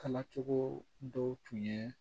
Kalacogo dɔw tun ye